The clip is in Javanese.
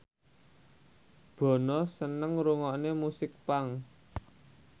Bono seneng ngrungokne musik punk